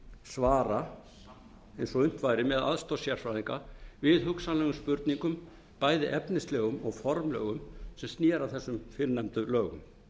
svara sannana og unnt væri með aðstoð sérfræðinga við hugsanlegum spurningum bæði efnislegum og formlegum sem sneru að þessum fyrrnefndu lögum